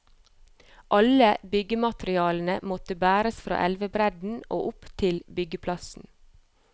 Alle byggematerialene måtte bæres fra elvebredden og opp til byggeplassen.